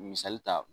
Misali ta